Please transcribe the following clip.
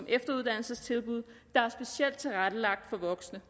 efteruddannelsestilbud der er specielt tilrettelagt for voksne